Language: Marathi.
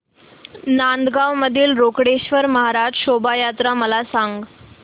नांदगाव मधील रोकडेश्वर महाराज शोभा यात्रा मला सांग